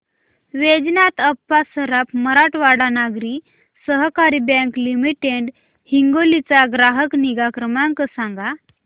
वैजनाथ अप्पा सराफ मराठवाडा नागरी सहकारी bank limited Hingoli चा ग्राहक निगा क्रमांक सांगा